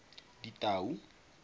ditau